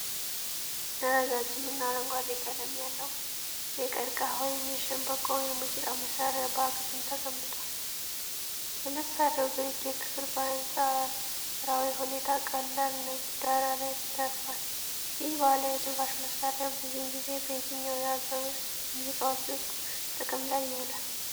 ረጃጅምና አረንጓዴ ቀለም ያለው የቀርቀሃ ወይም የሸምበቆ የሙዚቃ መሣሪያ በአግድም ተቀምጧል። የመሣሪያው ግርጌ ክፍል በአንጻራዊ ሁኔታ ቀላል ነጭ ዳራ ላይ አርፏል። ይህ ባህላዊ የትንፋሽ መሣሪያ ብዙውን ጊዜ በየትኞቹ የአገር ውስጥ ሙዚቃዎች ውስጥ ጥቅም ላይ ይውላል?